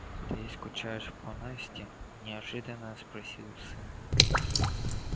ты скучаешь по насте неожиданно спросил сын